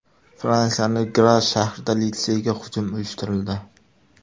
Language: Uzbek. Fransiyaning Gras shahrida litseyga hujum uyushtirildi.